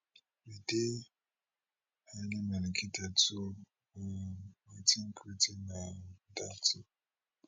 we dey highly medicated so um i tink wetin um dat tin